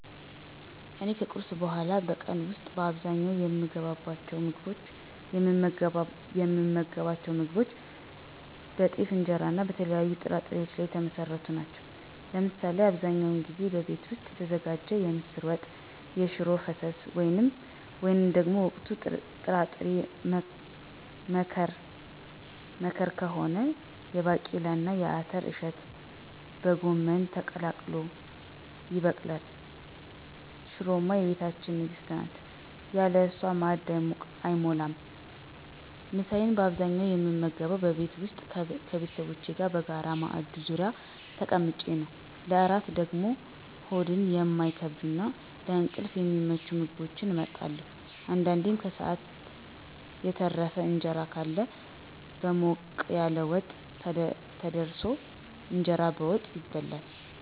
እኔም ከቁርስ በኋላ በቀን ውስጥ በአብዛኛው የምመገባቸው ምግቦች በጤፍ እንጀራና በተለያዩ ጥራጥሬዎች ላይ የተመሰረቱ ናቸው። ለምሳ አብዛኛውን ጊዜ በቤት ውስጥ የተዘጋጀ የምስር ወጥ፣ የሽሮ ፍስስ ወይም ደግሞ ወቅቱ የጥራጥሬ መከር ከሆነ የባቄላና የአተር እሸት በጎመን ተቀላቅሎ ይቀርባል። ሽሮማ የቤታችን ንግሥት ናት፤ ያለ እሷ ማዕድ አይሞላም። ምሳዬን በአብዛኛው የምመገበው በቤቴ ውስጥ ከቤተሰቦቼ ጋር በጋራ ማዕድ ዙሪያ ተቀምጬ ነው። ለእራት ደግሞ ሆድን የማይከብዱና ለእንቅልፍ የሚመቹ ምግቦችን እመርጣለሁ። አንዳንዴም የከሰዓት የተረፈ እንጀራ ካለ በሞቅ ያለ ወጥ ተደርሶ "እንጀራ በወጥ" ይበላል።